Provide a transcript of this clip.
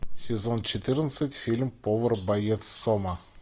сезон четырнадцать фильм повар боец сома